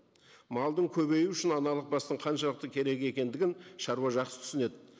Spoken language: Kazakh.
малдың көбеюі үшін аналық бастың қаншалықты керек екендігін шаруа жақсы түсінеді